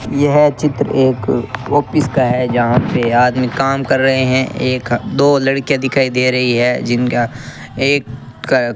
यह चित्र एक ऑफिस का है जहां पे आदमी काम कर रहे हैं एक दो लड़कियां दिखाई दे रही है जिनका एक --